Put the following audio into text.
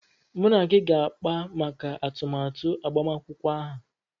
Mụ na gị ga-akpa maka atụmatụ agbamakwụkwọ aha.